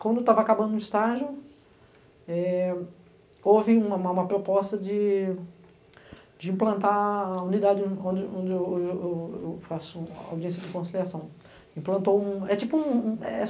Quando estava acabando o estágio, eh houve uma uma proposta de de implantar a unidade onde onde eu eu eu eu faço audiência de conciliação. Implantou, um é tipo um é